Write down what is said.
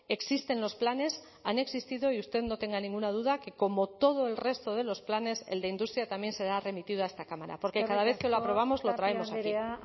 existen los planes han existido y usted no tenga ninguna duda que como todo el resto de los planes el de industria también será remitido a esta cámara porque cada vez que lo aprobamos lo traemos aquí eskerrik asko